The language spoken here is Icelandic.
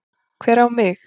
Hver á mig?